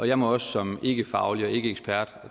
jeg må også som ikkefaglig og ikkeekspert